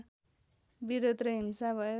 विरोध र हिंसा भयो